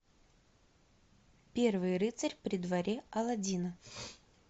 первый рыцарь при дворе алладина